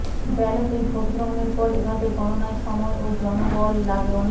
ব্যালটে ভোটগ্রহণের পর এভাবে গণনায় সময় ও জনবল লাগে অনেক